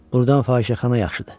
Burdan fahişəxana yaxşıdır.